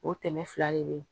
O tɛmɛ fila de be yen